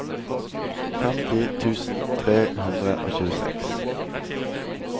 femti tusen tre hundre og tjueseks